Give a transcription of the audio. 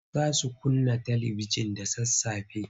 Za su kunna talibijin da sassafe.